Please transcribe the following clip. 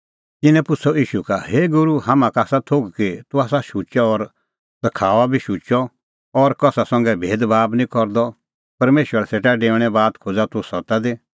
तिन्नैं पुछ़अ ईशू का हे गूरू हाम्हां का आसा थोघ कि तूह आसा शुचअ और सखाऊआ बी शुचअ और कसा संघै भेदभाब बी निं करदअ परमेशरा सेटा डेऊणे बात खोज़ा तूह सत्ता दी